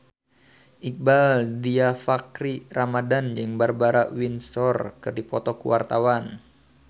Iqbaal Dhiafakhri Ramadhan jeung Barbara Windsor keur dipoto ku wartawan